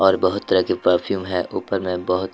और बहोत तरह की परफ्यूम है ऊपर में बहोत --